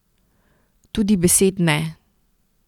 Tudi besed ne.